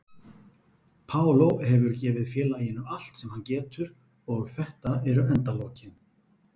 Paulo hefur gefið félaginu allt sem hann getur og þetta eru endalokin.